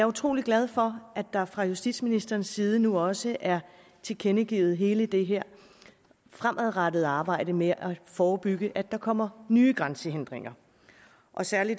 utrolig glad for at der fra justitsministerens side nu også er tilkendegivet vigtigheden af hele det her fremadrettede arbejde med at forebygge at der kommer nye grænsehindringer og særlig